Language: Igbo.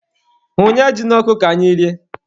Hunye ji n'ọkụ ka anyị rie.